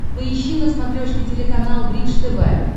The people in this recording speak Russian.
поищи на смотрешке телеканал бридж тв